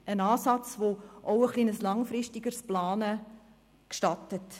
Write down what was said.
Einen Ansatz, der auch ein etwas langfristigeres Planen gestattet.